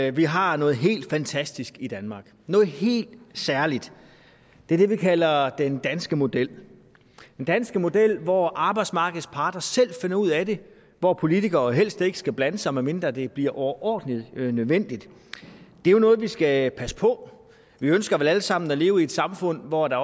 at vi har noget helt fantastisk i danmark noget helt særligt det er det vi kalder den danske model danske model hvor arbejdsmarkedets parter selv finder ud af det hvor politikere helst ikke skal blande sig medmindre det bliver overordentlig nødvendigt det er noget vi skal passe på vi ønsker vel alle sammen at leve i et samfund hvor der